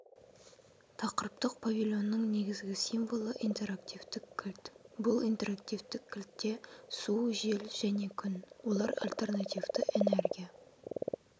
тақырыптық павильонның негізгі символы интерактивтік кілт бұл интерактивтік кілтте су жел және күн олар альтернативті энергия